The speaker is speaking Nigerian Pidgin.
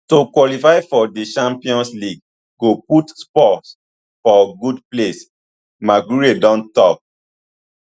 to qualify for di champions league go put spurs for good place maguire don tok